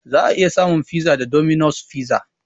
Za a iya samun fiza a 'Dominos Fiza'